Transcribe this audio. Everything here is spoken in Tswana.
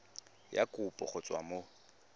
ya kopo go tswa mo